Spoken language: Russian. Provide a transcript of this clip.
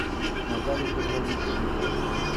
наталье петровне черниковой